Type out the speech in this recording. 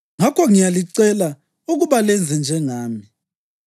Ngakho ngiyalicela ukuba lenze njengami.